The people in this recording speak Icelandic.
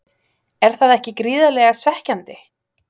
Er það ekki gríðarlega svekkjandi?